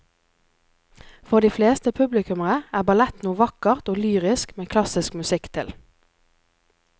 For de fleste publikummere er ballett noe vakkert og lyrisk med klassisk musikk til.